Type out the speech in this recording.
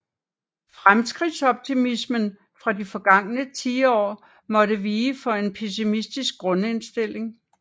Fremskridtsoptimismen fra de forgangne tiår måtte vige for en pessimistisk grundindstilling